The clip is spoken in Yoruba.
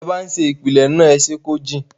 tí ẹ ń ṣe ìpìlẹ̀ náà, ẹ ṣé kó jìn.